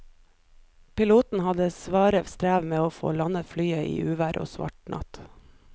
Piloten hadde sitt svare strev med å få landet flyet i uvær og svart natt.